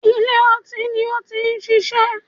Ilé ọtín ni ó ti ń ṣiṣẹ́